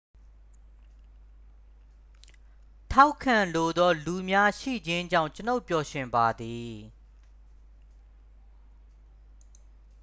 ထောက်ခံလိုသော လူများ ရှိခြင်းကြောင့် ကျွန်ုပ်ပျော်ရွှင်ပါသည်